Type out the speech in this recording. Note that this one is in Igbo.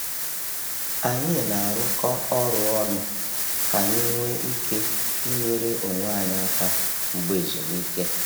Anyị na-arụkọ ọrụ ọnụ ka anyị nwee ike inyere onwe anyị aka mgbe ezumike.